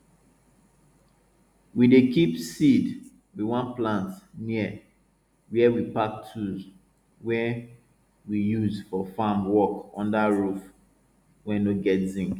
we dey keep seeds we wan plant near where we pack tools wey we use for farm work under roof wey no get zinc